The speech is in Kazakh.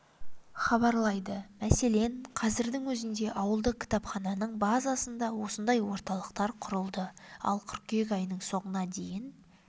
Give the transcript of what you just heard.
хабарлайды мәселен қазірдің өзінде ауылдық кітапхананың базасында осындай орталықтар құрылды ал қыркүйек айының соңына дейін